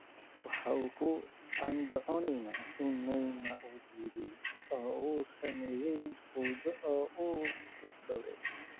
Waxa uu ku andacoonayaa in Neymar uu diiday oo uu sameeyay fowdo oo uu kufsaday.